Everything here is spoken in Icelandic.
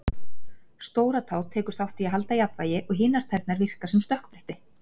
Stóratá tekur þátt í að halda jafnvægi og hinar tærnar virka sem stökkbretti.